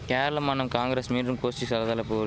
கேரள மானம் காங்கரஸ் மீண்றும் கோஷ்டி சலசலப்பு